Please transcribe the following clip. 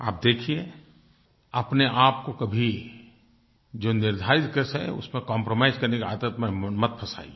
आप देखिये अपनेआपको कभी जो निर्धारित है उसमें कंप्रोमाइज करने की आदत में मत फंसाइए